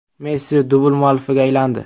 Messi dubl muallifiga aylandi.